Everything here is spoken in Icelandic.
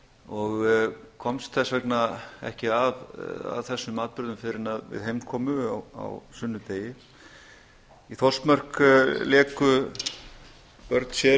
og komst þess vegna ekki að þessum atburðum fyrr en heim kom á sunnudegi í þórsmörk léku börn sér